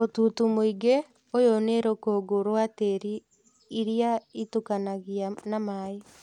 Mũtutu mũigũ, ũyũ nĩ rũkũngũ rwa tĩri iria ĩtukanagia na maĩ